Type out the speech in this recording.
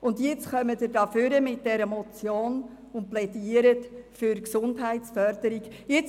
Nun wird von derselben Seite diese Motion vorgebracht, und es wird für mehr Gesundheitsförderung plädiert.